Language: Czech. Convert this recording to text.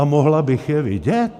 A mohla bych je vidět?